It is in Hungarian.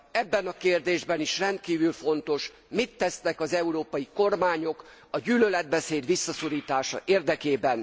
Ebben a kérdésben is rendkívül fontos mit tesznek az európai kormányok a gyűlöletbeszéd visszaszorítása érdekében.